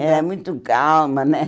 Era muito calma, né?